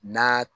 Na